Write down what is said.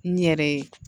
N yɛrɛ ye